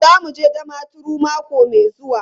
Za mu je Damaturu mako mai zuwa.